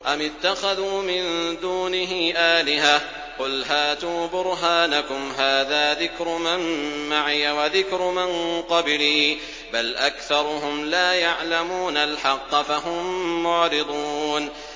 أَمِ اتَّخَذُوا مِن دُونِهِ آلِهَةً ۖ قُلْ هَاتُوا بُرْهَانَكُمْ ۖ هَٰذَا ذِكْرُ مَن مَّعِيَ وَذِكْرُ مَن قَبْلِي ۗ بَلْ أَكْثَرُهُمْ لَا يَعْلَمُونَ الْحَقَّ ۖ فَهُم مُّعْرِضُونَ